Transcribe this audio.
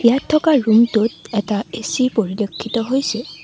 ইয়াত থকা ৰুমটোত এটা এ_চি পৰিলক্ষিত হৈছে।